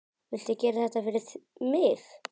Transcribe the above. Viltu gera þetta fyrir mig!